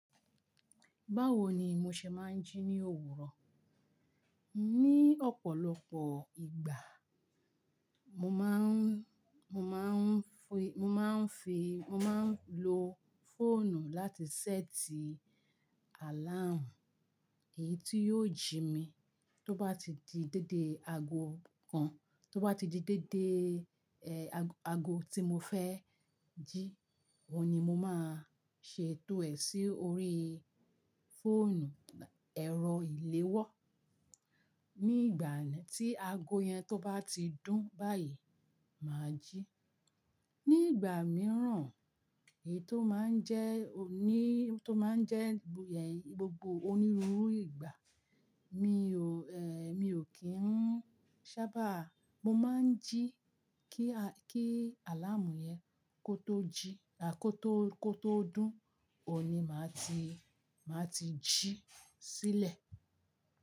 Báwo ni mo ṣe máa ń jí ní òwúrọ̀? Ní ọ̀pọ̀lọpọ̀ ìgbà, mo máa ń, mo máa ń fi, mo máa ń lo fóònù láti ṣẹ́ẹ̀tì àláàmù, èyí tí yóò jí mi tó bá ti di déédé ago kan, tó bá ti di déédé, ẹ́, ago, ago tí mo fẹ́ jí, ọ̀un ni mo máa ṣe to è sí orí fóònù, ẹ̀rọ ìléwọ́. Ní ìgbà tí ago yẹn tó bá ti dún báyìí, mà á jí. Ní ìgbà mìíràn, èyí tó máa ń jẹ́ òní, tó máa ń jẹ́ gbogbo onírúurú ìgbà, mi ò, ẹ́, mi ò kí ń sábà, mo máa ń jí kí a, kí àláàmù yẹn kó tó jí, a kó tó, kó tó dún, òní máa ti, máa ti jí sílẹ̀.